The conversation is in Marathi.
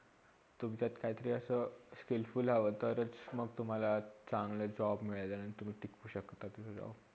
तुमच्यात काहितरी असा skillful हवा तरच मग तुम्हाला चांगला job मिळेल आणि तुम्ही टिकू शकता पुढे जाऊन.